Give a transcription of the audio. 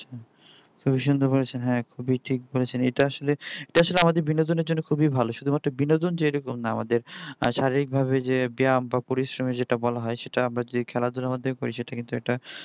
খুবি সুন্দর বলেছেন হ্যাঁ খুবি ঠিক বলেছেন এটা আসলে এটা আসলে আমাদের বিনোদনের জন্য খুবই ভালো শুধুমাত্র বিনোদন যে এ রকম না আমাদের শারীরিকভাবে যে ব্যায়াম বা পরিশ্রম যেটা বলা হয় সেটা আমরা যদি খেলাধুলার মাধ্যমে করে থাকি সেটা কিন্তু একটা